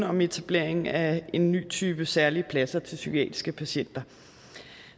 om etablering af en ny type særlige pladser til psykiatriske patienter